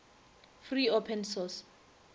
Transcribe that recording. free open source